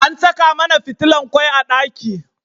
Ana Saka mAna fitilan kwai a daki